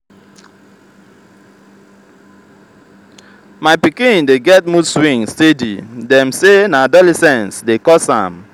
my pikin dey get mood swing steady dem say na adolescence dey cause am.